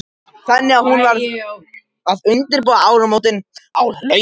Þannig að hún varð að undirbúa áramótin á hlaupum.